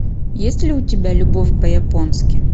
есть ли у тебя любовь по японски